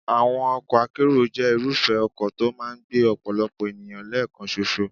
Àwọn ọkọ̀ akérò jẹ́ irúfẹ́ ọkọ̀ tó máa ń gbé ọ̀pọ̀lọpọ̀ ènìyàn lẹ́ẹ̀kan ṣoṣo.